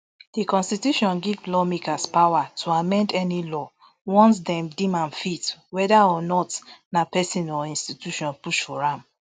di constitution give lawmakers power to amend any law once dem dim am fit whether or not na pesin or institution push for am